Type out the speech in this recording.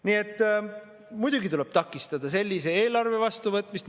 Nii et muidugi tuleb takistada sellise eelarve vastuvõtmist.